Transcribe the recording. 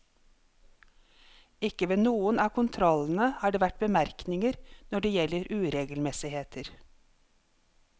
Ikke ved noen av kontrollene har det vært bemerkninger når det gjelder uregelmessigheter.